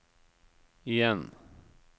igjen